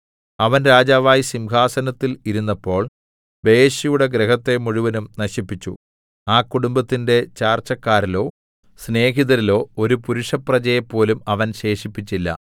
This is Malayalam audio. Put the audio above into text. അവൻ രാജാവായി സിംഹാസനത്തിൽ ഇരുന്നപ്പോൾ ബയെശയുടെ ഗൃഹത്തെ മുഴുവനും നശിപ്പിച്ചു ആ കുടുംബത്തിന്റെ ചാർച്ചക്കാരിലോ സ്നേഹിതരിലോ ഒരു പുരുഷപ്രജയെ പോലും അവൻ ശേഷിപ്പിച്ചില്ല